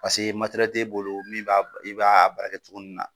Paseke t'e bolo min b'a, i b'a a baara kɛ cogoni min na.